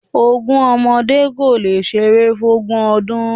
Ogún ọmọdé kólé ṣeré fún ògún ọdún